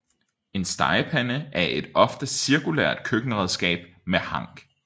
En stegepande er et ofte cirkulært køkkenredskab med hank